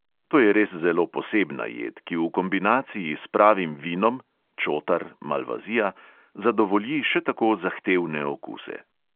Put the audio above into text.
To je res zelo posebna jed, ki v kombinaciji s pravim vinom (čotar, malvazija) zadovolji še tako zahtevne okuse.